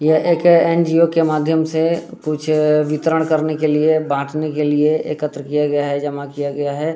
यह एक एन.जी.ओ. के माध्यम से कुछ वितरण करने के लिए बांटने के लिए एकत्र किया गया है जमा किया गया है।